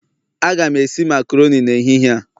Aga m esi makaroni na agwa n'ehihie a